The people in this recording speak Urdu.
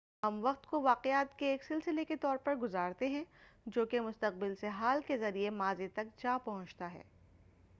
ہم وقت کو واقعات کے ایک سلسلے کے طور پر گُزارتے ہیں جو کہ مستقبل سے حال کے ذریعے ماضی تک جاپہنچتا ہے